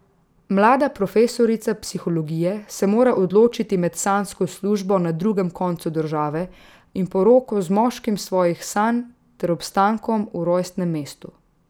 Mlada profesorica psihologije se mora odločiti med sanjsko službo na drugem koncu države in poroko z moškim svojih sanj ter obstankom v rojstnem mestu.